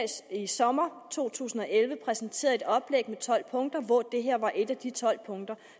i sommeren to tusind og elleve præsenterede et oplæg med tolv punkter hvor det her var et af de tolv punkter